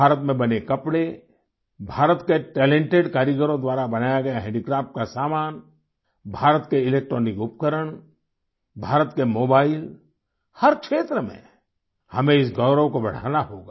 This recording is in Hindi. भारत में बने कपड़े भारत के टैलेंटेड कारीगरों द्वारा बनाया गया हैंडीक्राफ्ट का समान भारत के इलेक्ट्रॉनिक उपकरण भारत के मोबाइल हर क्षेत्र में हमें इस गौरव को बढ़ाना होगा